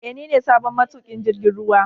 Ee, ni ne sabon matukin jirgin ruwa